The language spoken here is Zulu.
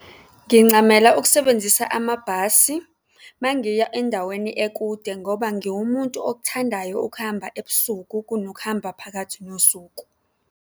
Ngincamela ukusebenzisa amabhasi uma ngiya endaweni ekude ngoba ngiwumuntu okuthandayo ukuhamba ebusuku kunokuhamba phakathi nosuku.